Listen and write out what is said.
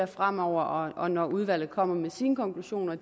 fremover og når udvalget kommer med sine konklusioner